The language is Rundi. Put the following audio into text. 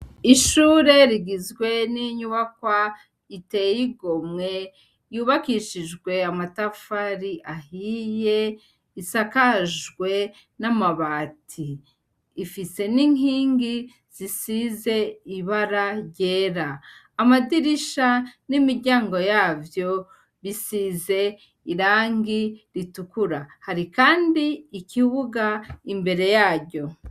Ishure rigizwe n'inyubakwa iteyigomwe yubakishijwe amatafari ahiye isakajwe namabati, ifise n'inkingi zisize ibara ryera amadirisha n'imiryango yavyo bisize irangi ritukura hari kandi ikibuga imbere yayo.